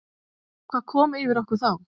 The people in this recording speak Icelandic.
Hvað kom yfir okkur þá?